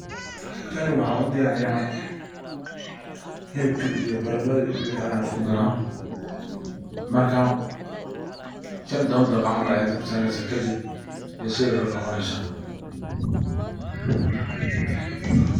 Tani waxan u diyariya xilibka iyo baradadha iyo wixi ayan isku daraa, marka shan iyo toban daqiqo aya dabka saresa kadib ayay sidha larabe noqonesa.